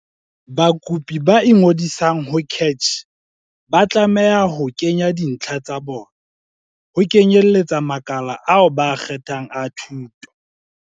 Bakopi ba ingodisang ho CACH ba tlameha ho kenya dintlha tsa bona, ho kenyeletsa makala ao ba a kgethang a thuto.